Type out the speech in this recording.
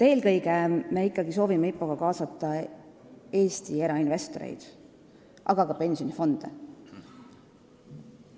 Eelkõige me soovime IPO-ga kaasata ikkagi Eesti erainvestoreid, aga ka pensionifonde.